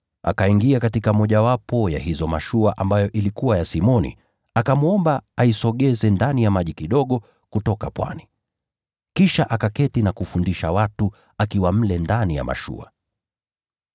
Akaingia katika mojawapo ya hizo mashua ambayo ilikuwa ya Simoni, akamwomba aisogeze ndani ya maji kidogo kutoka ufuoni. Kisha akaketi na kufundisha watu akiwa mle ndani ya mashua.